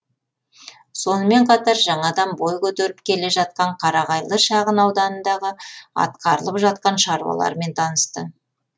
сонымен қатар жаңадан бой көтеріп келе жатқан қарағайлы шағынауданындағы атқарылып жатқан шаруалармен танысты